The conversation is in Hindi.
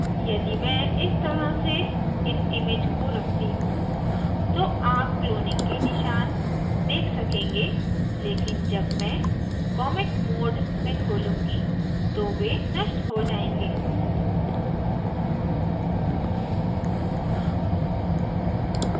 यदि मैं इस तरह से इस image को रखती हूँ तो आप cloning के निशान देख सकेंगे लेकिन जब मैं comic mode में खोलूँगी तो वे नष्ट हो जायेंगे